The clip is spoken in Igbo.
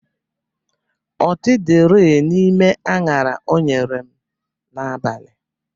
Ọtị dịrị n'ime añara o nyere m n'abalị